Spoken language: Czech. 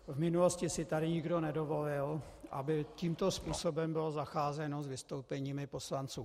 V minulosti si tady nikdo nedovolil, aby tímto způsobem bylo zacházeno s vystoupeními poslanců.